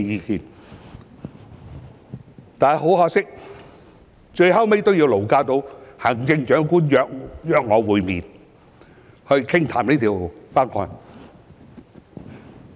然而，很可惜，最終也要勞駕行政長官約我會面傾談《條例草案》。